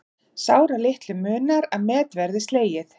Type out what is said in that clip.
Sáralitlu munar að met verði slegið